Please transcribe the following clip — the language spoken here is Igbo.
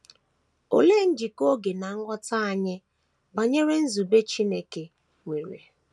Olee njikọ oge na nghọta anyị banyere nzube Chineke, nwere?